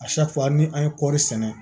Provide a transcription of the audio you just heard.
ni an ye kɔri sɛnɛ